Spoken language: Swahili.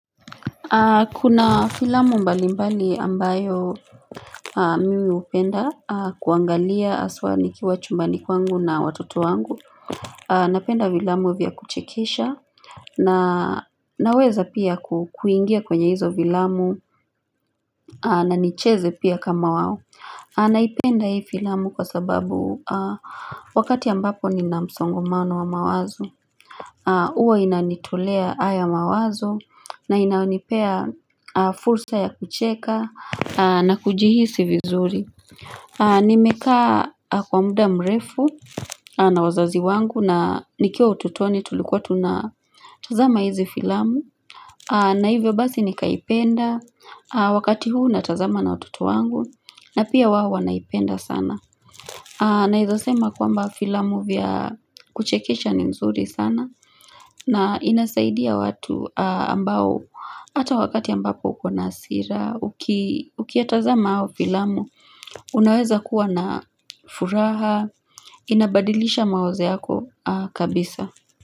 Kuna filamu mbalimbali ambayo mimi upenda kuangalia aswaa nikiwa chumbani kwangu na watoto wangu. Napenda vilamu vya kuchekesha na naweza pia kuingia kwenye hizo vilamu na nicheze pia kama wao. Naipenda hii filamu kwa sababu wakati ambapo nina msongomano wa mawazo. Uwa inanitolea haya mawazo na inaonipea fulsa ya kucheka na kujihisi vizuri Nimekaa kwa muda mrefu na wazazi wangu na nikio utotoni tulikuwa tunatazama hizi filamu na hivyo basi nikaipenda wakati huu natazama na watoto wangu na pia wao wanaipenda sana Naeza sema kwamba filamu vya kuchekesha ni mzuri sana na inasaidia watu ambao, ata wakati ambapo uko na hasira, uki ukiatazama hao filamu, unaweza kuwa na furaha, inabadilisha maoze yako kabisa.